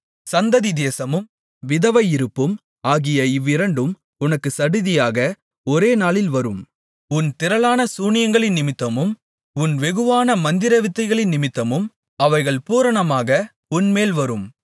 சந்ததி சேதமும் விதவையிருப்பும் ஆகிய இவ்விரண்டும் உனக்குச் சடிதியாக ஒரே நாளில் வரும் உன் திரளான சூனியங்களினிமித்தமும் உன் வெகுவான மந்திரவித்தைகளினிமித்தமும் அவைகள் பூரணமாக உன்மேல் வரும்